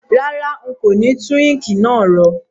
Rárá, n kò ni tun ink náà ro